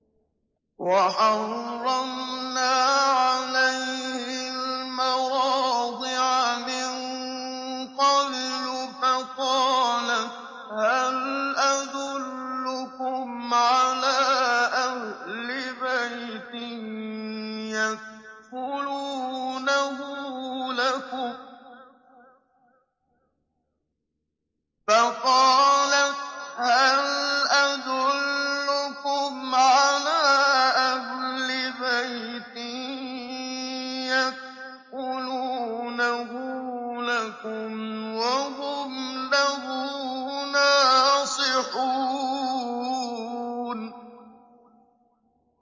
۞ وَحَرَّمْنَا عَلَيْهِ الْمَرَاضِعَ مِن قَبْلُ فَقَالَتْ هَلْ أَدُلُّكُمْ عَلَىٰ أَهْلِ بَيْتٍ يَكْفُلُونَهُ لَكُمْ وَهُمْ لَهُ نَاصِحُونَ